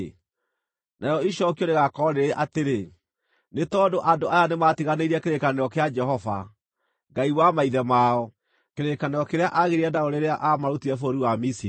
Narĩo icookio rĩgaakorwo rĩrĩ atĩrĩ, “Nĩ tondũ andũ aya nĩmatiganĩirie kĩrĩkanĩro kĩa Jehova, Ngai wa maithe mao, kĩrĩkanĩro kĩrĩa aagĩire nao rĩrĩa aamarutire bũrũri wa Misiri.